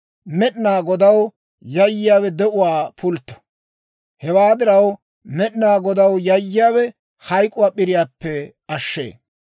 Med'inaa Godaw yayyiyaawe de'uwaa pultto; hewaa diraw, Med'inaa Godaw yayiyaawe hayk'k'uwaa p'iriyaappe ashee.